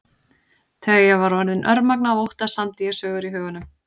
Þegar ég var orðin örmagna af ótta samdi ég sögur í huganum.